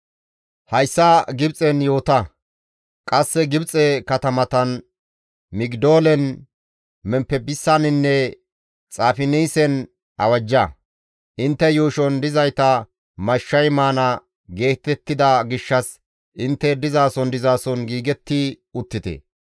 «Hayssa Gibxen yoota; qasse Gibxe katamatan Migidoolen, Memppisaninne Xaafinaasen awajja. Intte yuushon dizayta mashshay maana giigettida gishshas intte dizason dizason giigetti uttite.